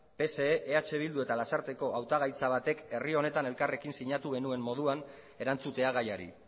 pse eh bildu eta lasarteko hautagaitza batek herri honetan elkarrekin sinatu genuen moduan erantzutea gaiari